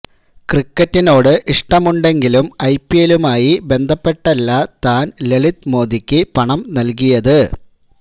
ക്രിക്കറ്റിനോട് ഇഷ്ടമുണ്ടെങ്കിലും I P എല്ലുമായി ബന്ധപ്പെട്ടല്ല താൻ ലളിത് മോദിക്ക് പണം നൽകിയത്